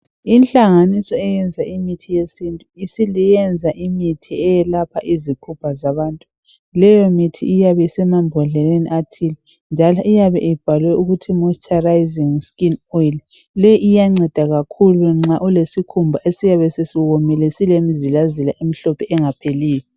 Inhlanganiso eyenza imithi yesintu isiyenza imithi eyelapha izifo zabantu, leyo mithi iyabe isemambodleleni athile njalo iyabe ibhalwe ukuthi moisturizing skin oil , le iyanceda kakhulu nxa ulesikhumba esiyabe sesiwomile silemzilazila emhlophe engapheliyo